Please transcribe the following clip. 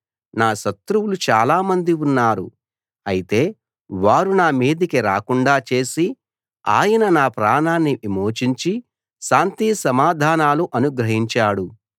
నా శత్రువులు చాలామంది ఉన్నారు అయితే వారు నా మీదికి రాకుండా చేసి ఆయన నా ప్రాణాన్ని విమోచించి శాంతిసమాధానాలు అనుగ్రహించాడు